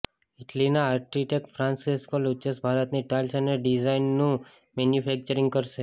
ઇટલીના architect Francesco Lucchese ભારતની tiles અને ડિઝાઇનનું મેનુફેક્ચરિગ કરશે